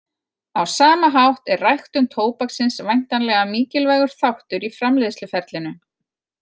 Á sama hátt er ræktun tóbaksins væntanlega mikilvægur þáttur í framleiðsluferlinu.